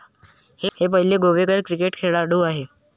हे पहिले गोवेकर क्रिकेट खेळाडू होते